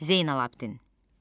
Zeynəlabdin.